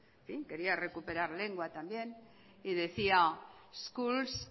quería recuperar lengua también y decía schools